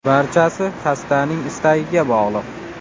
Barchasi xastaning istagiga bog‘liq.